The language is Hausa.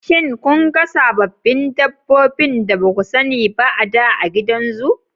Shin kun ga sababbin dabbobin da ba ku sani ba a da a gidan zu?